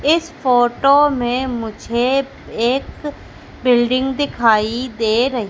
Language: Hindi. इस फोटो में मुझे एक बिल्डिंग दिखाई दे र --